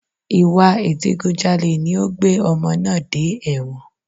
Ìwà Ìdigunjalè ni ó gbé ọmọ náà dé ẹ̀wọ̀n